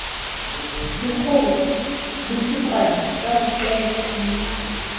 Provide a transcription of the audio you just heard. dikgoho botsikwane bo ba qete